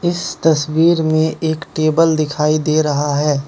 इस तस्वीर में एक टेबल दिखाई दे रहा है।